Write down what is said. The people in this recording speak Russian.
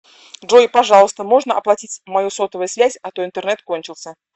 джой пожалуйста можно оплатить мою сотовую связь а то интернет кончился